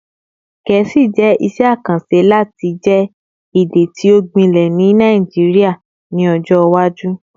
Gẹẹsi jẹ iṣẹ akanṣe lati jẹ ede ti o gbilẹ ni Naijiria ni ọjọ iwaju